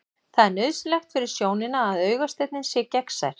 Það er nauðsynlegt fyrir sjónina að augasteininn sé gegnsær.